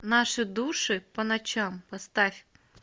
наши души по ночам поставь